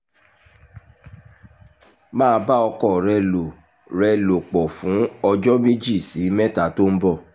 máa bá ọkọ rẹ lò rẹ lò pọ̀ fún ọjọ́ méjì sí mẹ́ta tó ń bọ̀